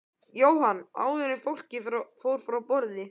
Jóhann: Áður en fólk fór frá borði?